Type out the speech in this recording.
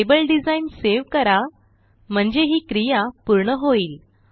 table design save करा म्हणजे ही क्रिया पूर्ण होईल